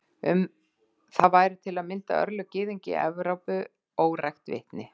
Um það væru til að mynda örlög gyðinga í Evrópu órækt vitni.